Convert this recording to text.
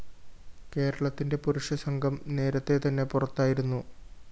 കേരളത്തിന്റെ പുരുഷ സംഘം നേരത്തെ തന്നെ പുറത്തായിരുന്നു